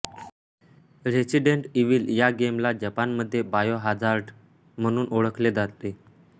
resident Evil या गेमला जपानमध्ये बायोहाझार्ड म्हणून ओळखले जाते